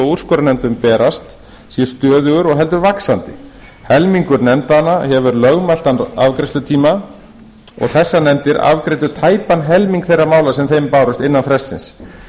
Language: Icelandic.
úrskurðarnefndum berast sé stöðugur og heldur vaxandi helmingur nefndanna hefur lögmæltan afgreiðslutíma og þessar nefndir afgreiddu tæpan helming þeirra mála sem þeim bárust innan frestsins